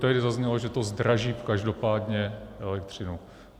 Tady zaznělo, že to zdraží každopádně elektřinu.